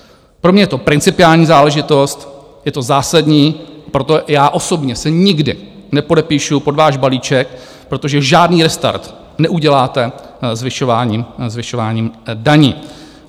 Pro mě je to principiální záležitost, je to zásadní, proto já osobně se nikdy nepodepíšu pod váš balíček, protože žádný restart neuděláte zvyšováním daní.